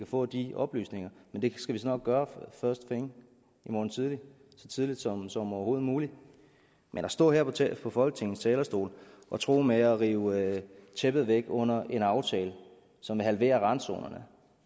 få de oplysninger men det skal vi så nok gøre i morgen tidlig så tidligt som som overhovedet muligt men at stå her fra folketingets talerstol og true med at rive tæppet væk under en aftale som vil halvere randzonerne